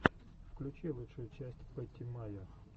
включи лучшую часть пэтти майо